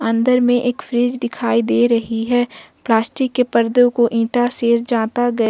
अंदर में एक फ्रिज दिखाई दे रही है प्लास्टिक के पर्दो को इंटा से जाता गया--